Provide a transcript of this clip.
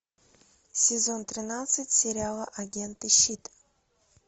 сезон тринадцать сериала агенты щит